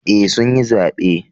Eh sun yi zabe